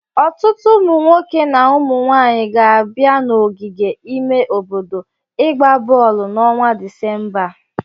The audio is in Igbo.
Ọtụtụ ụmụnwoke na ụmụ nwaanyị ga-abịa n'ogige ime obodo ịgba bọọlụ n'ọnwa Disemba a.